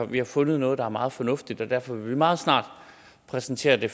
vi har fundet noget der er meget fornuftigt derfor vil vi meget snart præsentere det